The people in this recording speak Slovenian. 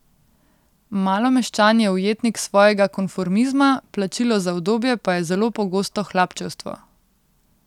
Malomeščan je ujetnik svojega konformizma, plačilo za udobje pa je zelo pogosto hlapčevstvo.